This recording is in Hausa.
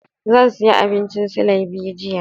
Zan sayi abincin silai biyu jiya.